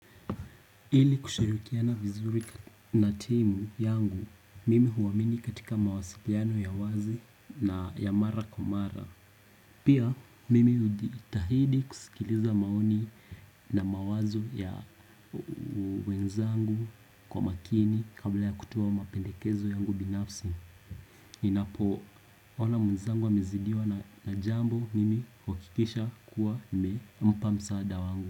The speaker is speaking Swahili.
Ili kushirikiana vizuri na timu yangu, mimi huwamini katika mawasiliano ya wazi na ya mara kwa mara. Pia, mimi hujitahidi kusikiliza maoni na mawazo ya wenzangu kwa makini kabla ya kutoa mapendekezo yangu binafsi. Ninapo ona wenzangu wamezidiwa na jambo mimi huhakikisha kua nimempa msaada wangu.